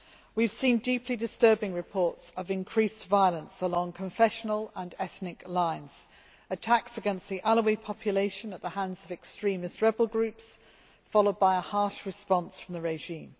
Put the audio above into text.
We have seen deeply disturbing reports of increased violence along confessional and ethnic lines. There were attacks against the Alawi population at the hands of extremist rebel groups, followed by a harsh response from the regime.